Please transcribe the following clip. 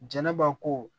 Jɛnɛba ko